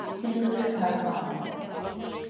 Snillingur er töfraorðið.